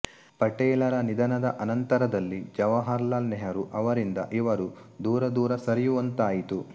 ಪಟೇಲರ ನಿಧನದ ಅನಂತರದಲ್ಲಿ ಜವಾಹರಲಾಲ್ ನೆಹರು ಅವರಿಂದ ಇವರು ದೂರದೂರ ಸರಿಯುವಂತಾಯಿತು